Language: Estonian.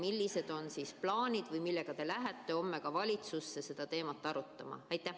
Millised on plaanid või millega te lähete homme valitsusse seda teemat arutama?